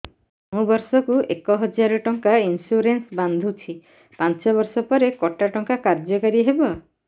ମୁ ବର୍ଷ କୁ ଏକ ହଜାରେ ଟଙ୍କା ଇନ୍ସୁରେନ୍ସ ବାନ୍ଧୁଛି ପାଞ୍ଚ ବର୍ଷ ପରେ କଟା ଟଙ୍କା କାର୍ଯ୍ୟ କାରି ହେବ